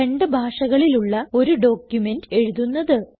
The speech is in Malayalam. രണ്ട് ഭാഷകളിലുള്ള ഒരു ഡോക്യുമെന്റ് എഴുതുന്നത്